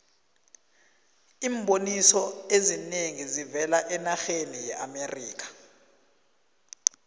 iimboniso ezinengi zivela enarheni yeamerikha